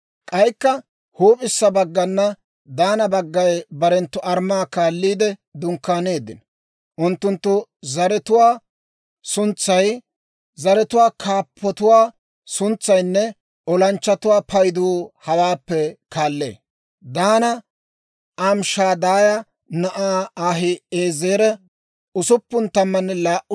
«K'aykka huup'issa baggana Daana baggay barenttu armmaa kaalliide dunkkaanino. Unttunttu zaratuwaa suntsay, zaratuwaa kaappatuwaa suntsaynne olanchchatuwaa paydu hawaappe kaallee: Daana Amishadaaya na'aa Ahi'eezera 62,700;